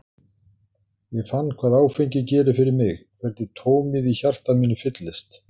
Ég fann hvað áfengi gerir fyrir mig, hvernig tómið í hjarta mínu fyllist.